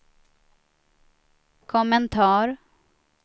kommentar